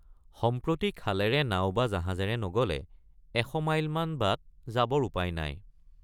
সম্প্ৰতি খালেৰে নাও বা জাহাজেৰে নগলে এশ মাইলমান বাট যাবৰ উপায় নাই।